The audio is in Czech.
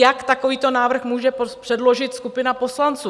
Jak takovýto návrh může předložit skupina poslanců?